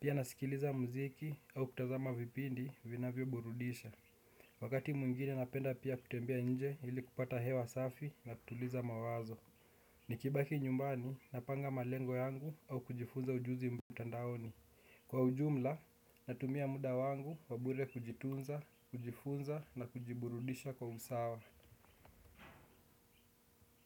Pia nasikiliza mziki au kutazama vipindi vinavyo burudisha. Wakati muingine napenda pia kutembea nje ili kupata hewa safi na tutuliza mawazo. Nikibaki nyumbani, napanga malengo yangu au kujifunza ujuzi mtandaoni. Kwa ujumla, natumia muda wangu wabure kujitunza, kujifunza na kujiburudisha kwa usawa.